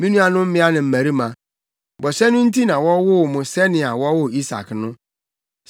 Me nuanom mmea ne mmarima, bɔhyɛ no nti na wɔwoo mo sɛnea wɔwoo Isak no.